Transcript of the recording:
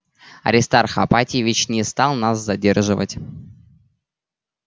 аристарх ипатьевич не стал нас задерживать